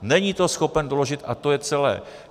Není to schopen doložit a to je celé.